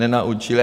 Nenaučili.